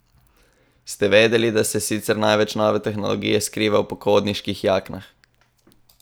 Ste vedeli, da se sicer največ nove tehnologije skriva v pohodniških jaknah?